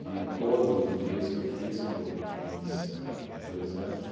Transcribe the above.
todos os dias que eu fiz, que eu fiz ahn em dois anos,